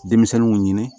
Denmisɛnninw ɲini